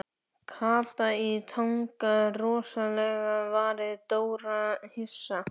Kata í Tanga Rosalega varð Dóri hissa.